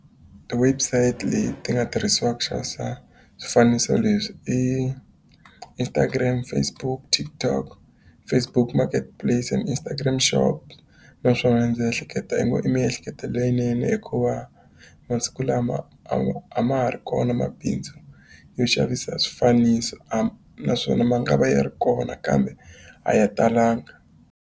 Ti-website leti nga tirhisiwaka ku xavisa swifaniso leswi i Instagram, Facebook, TikTok, Facebook Marketplace and Instagram Shop. Naswona ndzi ehleketa miehleketo leyinene hikuva masiku lama a ma ha ri kona mabindzu yo xavisa swifaniso, naswona ma nga va yi ri kona kambe a ya talanga.